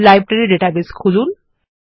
library database খুলুন